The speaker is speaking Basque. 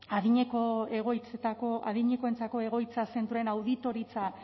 adinekoentzako egoitza zentroen auditoritza